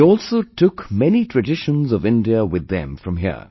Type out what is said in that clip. They also took many traditions of India with them from here